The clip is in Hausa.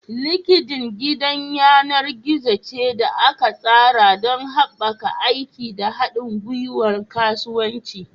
LinkedIn gidan yanar gizo ce da aka tsara don haɓaka aiki da haɗin gwiwar kasuwanci.